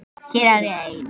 Hér er ég ein.